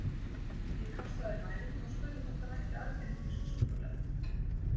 Ég kastaði mæðinni og spurði hvort hann ætti argentínskt súkkulaði.